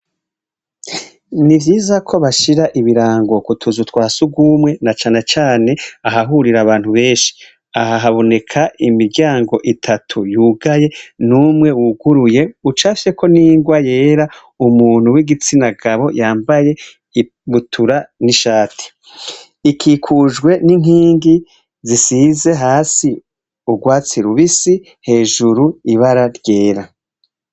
Ni vyiza ko bashira ibirango kutuzu twasi ugumwe na cana cane ahahurira abantu benshi ahahabuneka imiryango itatu yugaye n'umwe wuguruye ucasheko n'ingwa yera umuntu w'igitsina gabo yambaye ibutura n'ishati iki kujwe n'inkingi zisize hasi urwatsirubisi hejuru ibara ryera.